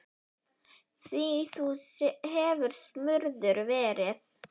Því þú hefur smurður verið.